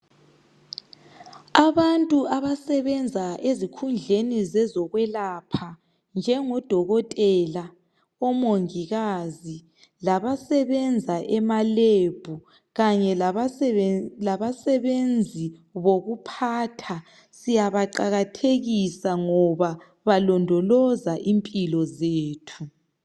Abantu abasebenza ezikhundleni zezokwelapha njengodokotela, omongikazi labasebenza emalebhu, kanye labasebenzi bokuphatha siyabaqakathekisa ngoba balondoloza impilo zethu.